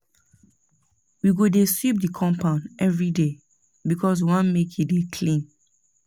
We go dey sweep di compound everyday because we wan make e dey clean.